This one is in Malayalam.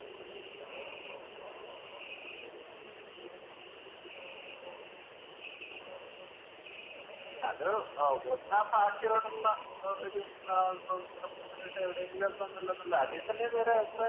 അത് ഒന്നാഭാഷയോടൊള്ള ഒരു Representation എവിടെങ്ങിലും ഒന്ന് അതിൽത്തന്നെ വേറെ അഭിപ്രായം